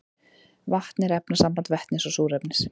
vatn er efnasamband vetnis og súrefnis